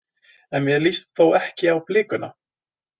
En mér líst þó ekki á blikuna.